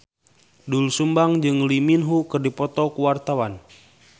Doel Sumbang jeung Lee Min Ho keur dipoto ku wartawan